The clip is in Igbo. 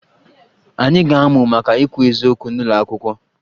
Anyị ga-amụ maka ikwu eziokwu n'ụlọ akwụkwọ